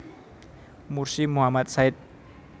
Mursi Muhammad Said